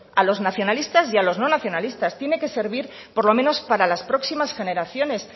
a los nacionalistas y a los no nacionalistas tiene que servir por lo menos para las próximas generaciones